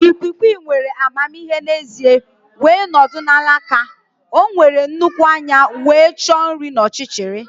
Ikwiikwii nwere amamihe n'ezie wee nọdụ na alaka. O nwere nnukwu anya wee chọọ nri n'ọchịchịrị.